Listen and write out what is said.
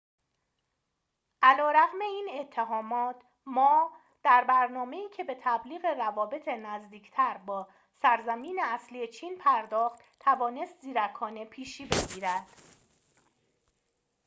علی‌رغم این اتهامات ما در برنامه‌ای که به تبلیغ روابط نزدیکتر با سرزمین اصلی چین پرداخت توانست زیرکانه پیشی بگیرد